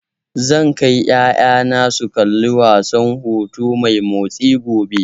Zan kai ƴaƴana su kalli wasan hoto mai motsi, gobe.